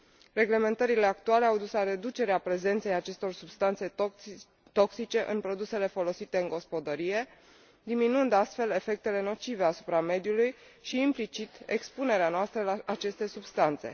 Reglementările actuale au dus la reducerea prezenței acestor substanțe toxice în produsele folosite în gospodărie, diminuând astfel efectele nocive asupra mediului și, implicit, expunerea noastră la aceste substanțe.